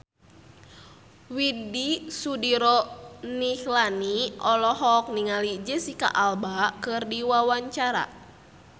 Widy Soediro Nichlany olohok ningali Jesicca Alba keur diwawancara